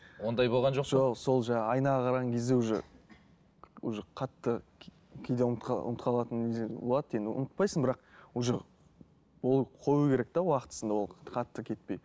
ондай болған жоқ па жоқ сол жаңа айнаға қараған кезде уже уже қатты кейде ұмытып ұмытып қалатын нелер болады енді ұмытпайсың бірақ уже ол қою керек те уақытысында ол қатты кетпей